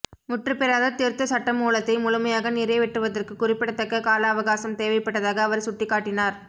முற்றுபெறாத திருத்த சட்டமூலத்தை முழுமையாக நிறைவேற்றுவதற்கு குறிப்பிடத்தக்க கால அவகாசம் தேவைப்பட்டதாக அவர் சுட்டிக்காட்டினார்